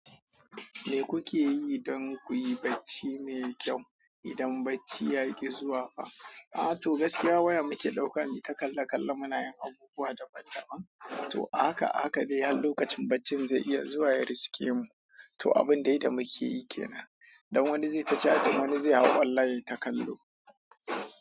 Me kuke yi don kuyi bacci mai kyau idan bacci yaƙi zuwa fa? A to gaskiya wayam muke ɗaukan yi ta kalla-kalla munayin abubuwa daban-daban. To a haka a haka dainhar lokacin baccin zainiya zuwa yabriske mu to abin dai da muke yi ke nan. Don wani zai tace chatun wani zai hau online yayi ta kallo.